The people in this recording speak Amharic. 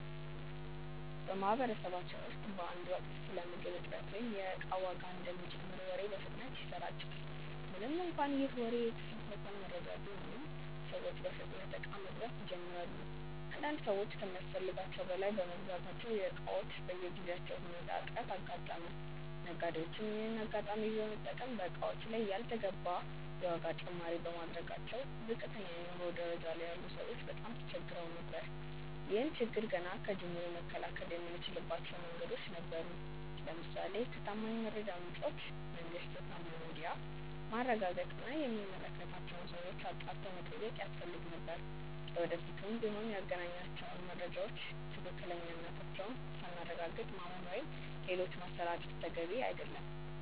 በማህበረሰባችን ውስጥ በአንድ ወቅት ስለ ምግብ እጥረት ወይም የእቃ ዋጋ እንደሚጨምር ወሬ በፍጥነት ይሰራጫል። ምንም እንኳን ይህ ወሬ የተሳሳተ መረጃ ቢሆንም፤ ሰዎች በፍጥነት እቃ መግዛት ይጀምራሉ። አንዳንድ ሰዎች ከሚያስፈልጋቸው በላይ በመግዛታቸው የእቃዎች በጊዜያዊ ሁኔታ እጥረት አጋጠመ። ነጋዴዎችም ይሄንን አጋጣሚ በመጠቀም በእቃዎቹ ላይ ያልተገባ የዋጋ ጭማሪ በማድረጋቸው ዝቅተኛ የኑሮ ደረጃ ላይ ያሉ ሰዎች በጣም ተቸግረው ነበር። ይህን ችግር ገና ከጅምሩ መከላከል የምንችልባቸው መንገዶች ነበሩ። ለምሳሌ ከታማኝ የመረጃ ምንጮች (መንግስት፣ ታማኝ ሚዲያ)ማረጋገጥ እና የሚመለከታቸውን ሰዎች አጣርቶ መጠየቅ ያስፈልግ ነበር። ለወደፊቱም ቢሆን ያገኘናቸውን መረጃዎች ትክክለኛነታቸውን ሳናረጋግጥ ማመን ወይም ሌሎች ማሰራጨት ተገቢ አይደለም።